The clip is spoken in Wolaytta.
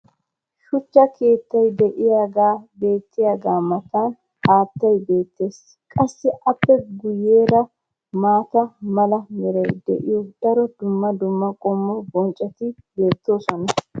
shuchcha keettay diyaagee beetiyaagaa matan haattay beetees. qassi appe guyeera maata mala meray de'iyo daro dumma dumma qommo bonccoti beetoosona.